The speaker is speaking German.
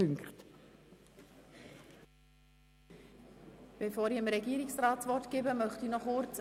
Das ist aus meiner Sicht der entscheidende Punkt.